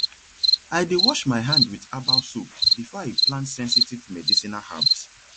i dey wash my hand with herbal soap before i plant sensitive medicinal herbs